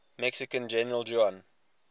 mexican general juan